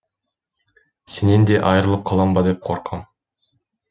сенен де айрылып қалам ба деп қорқам